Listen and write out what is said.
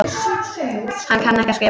Hann kann ekki að skrifa.